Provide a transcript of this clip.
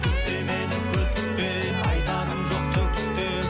күтпе мені күтпе айтарым жоқ түк те